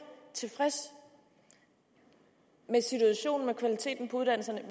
tilfreds med situationen med kvaliteten på uddannelserne